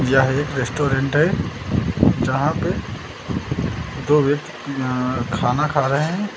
यह एक रेस्टोरेंट है यहां पे दो व्यक्ति अह खाना खा रहे हैं।